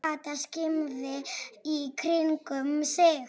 Kata skimaði í kringum sig.